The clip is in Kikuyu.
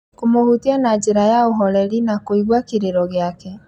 kũmũhutia na njĩra ya ũhoreri, na kũigua kĩrĩro gĩake.